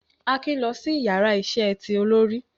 Akin lọ si ìyára iṣẹ tí olori